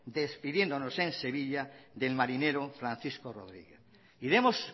despidiéndonos en sevilla del marinero francisco rodríguez y demos